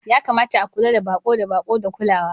Ya kamata a kula da baƙo da baƙo da kulawa.